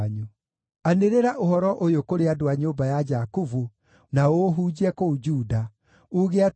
“Anĩrĩra ũhoro ũyũ kũrĩ andũ a nyũmba ya Jakubu, na ũũhunjie kũu Juda, uuge atĩrĩ: